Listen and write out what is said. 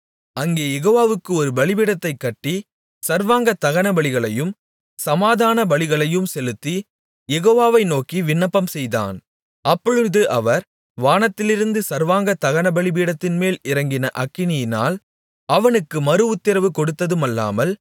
அங்கே யெகோவாவுக்கு ஒரு பலிபீடத்தைக் கட்டி சர்வாங்க தகனபலிகளையும் சமாதான பலிகளையும் செலுத்தி யெகோவாவை நோக்கி விண்ணப்பம்செய்தான் அப்பொழுது அவர் வானத்திலிருந்து சர்வாங்க தகனபலிபீடத்தின்மேல் இறங்கின அக்கினியினால் அவனுக்கு மறுஉத்திரவு கொடுத்ததுமல்லாமல்